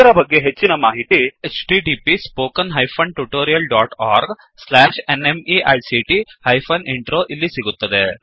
ಇದರ ಬಗ್ಗೆ ಹೆಚ್ಚಿನಮಾಹಿತಿ 2ಇಲ್ಲಿ ಸಿಗುತ್ತದೆ